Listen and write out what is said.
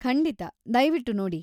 ಖಂಡಿತ, ದಯ್ವಿಟ್ ನೋಡಿ!